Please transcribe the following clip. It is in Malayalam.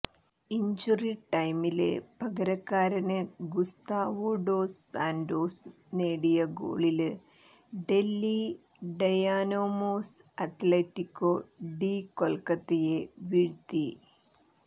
ഇഞ്ച്വറി ടൈമില് പകരക്കാരന് ഗുസ്താവോ ഡോസ് സാന്റോസ് നേടിയ ഗോളില് ഡല്ഹി ഡയനാമോസ് അത്ലറ്റിക്കോ ഡി കൊല്ക്കത്തയെ വീഴ്ത്തി